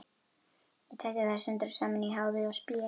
Ég tæti þær sundur og saman í háði og spéi.